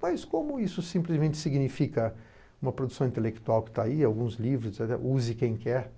Mas como isso simplesmente significa uma produção intelectual que está aí, alguns livros, use quem quer,